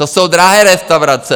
To jsou drahé restaurace.